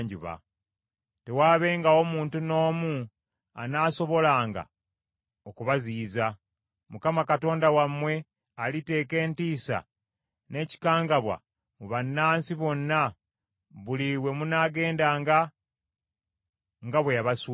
Tewaabengawo muntu n’omu anaasobolanga okubaziyiza. Mukama Katonda wammwe aliteeka entiisa n’ekikangabwa mu bannansi bonna, buli we munaagendanga, nga bwe yabasuubiza.